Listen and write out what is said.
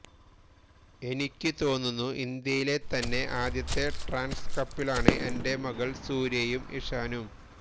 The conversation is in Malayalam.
എനിക്ക് തോന്നുന്നു ഇന്ത്യയിലെ തന്നെ ആദ്യത്തെ ട്രാൻസ് കപ്പിളാണ് എന്റെ മകൾ സൂര്യയും ഇഷാനും